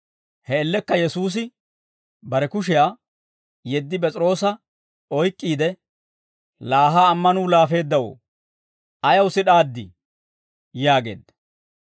He man''iyaan Yesuusi bare kushiyaa yeddi P'es'iroosa oyk'k'iide, «Laa ha ammanuu laafeeddawoo! Ayaw sid'aaddii?» yaageedda.